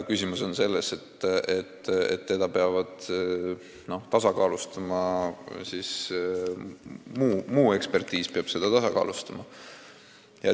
Küsimus on selles, et eksperditeadmised peavad seda tasakaalustama.